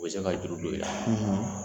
U bɛ se ka jurudo i la.